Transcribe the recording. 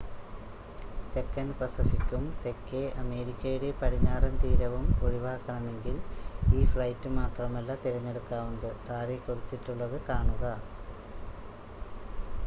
തെക്കൻ പസഫിക്കും തെക്കേ അമേരിക്കയുടെ പടിഞ്ഞാറൻ തീരവും ഒഴിവാക്കണമെങ്കിൽ ഈ ഫ്ലൈറ്റ് മാത്രമല്ല തിരഞ്ഞെടുക്കാവുന്നത്. താഴെ കൊടുത്തിട്ടുള്ളത് കാണുക